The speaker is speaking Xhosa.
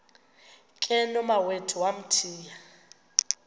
ke nomawethu wamthiya